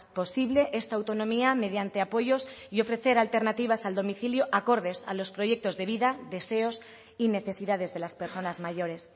posible esta autonomía mediante apoyos y ofrecer alternativas al domicilio acordes a los proyectos de vida deseos y necesidades de las personas mayores